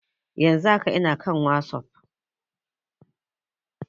Yan zun haka ina kan wasap